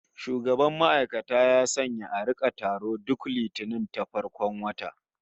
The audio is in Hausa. Shugaban ma'aikata ya sanya a rika taro duk Litinin ta farkon wata